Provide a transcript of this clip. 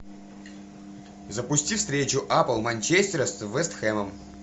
запусти встречу апл манчестера с вест хэмом